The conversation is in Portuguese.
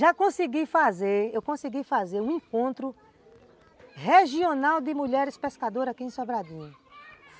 Já consegui fazer, eu consegui fazer um encontro regional de mulheres pescadoras aqui em Sobradinho.